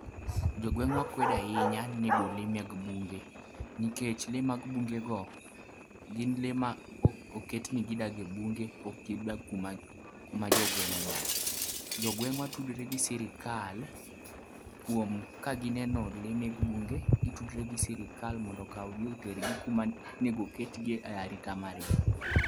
Jo gweng'ua kwedo ahinya nego lee mek bunge nikech lee mag bungego oket ni gidak e bunge, gidak kuma jogweng' odakie. Jogweng'wa tudore gi sirikal kuom ka gineno lee mag bunge gitudore gi sirikal mondo okawgi oketgi kuma onego oketgie.